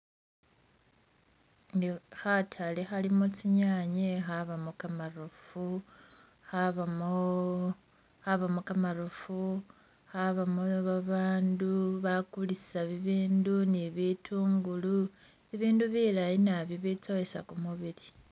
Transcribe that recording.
Khatale khalimo tsinyanye, khabamo kamaroofu ,khabamo khabamo kamaroofu ,khabamo babandu bakulisa bibindu ni bitungulu ,bibindu bilayi nabi bitsowesa kumubili